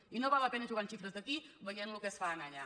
i no val la pe·na jugar amb xifres d’aquí veient el que es fa allà